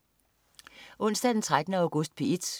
Onsdag den 13. august - P1: